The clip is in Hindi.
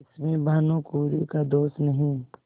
इसमें भानुकुँवरि का दोष नहीं